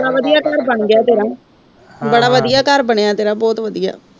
ਬੜਾ ਵਧਿਆ ਘਰ ਬਣ ਗਿਆ ਤੇਰਾ ਬੜਾ ਵਧਿਆ ਘਰ ਬਣਿਆ ਤੇਰਾ ਬਹੁਤ ਵਧੀਆ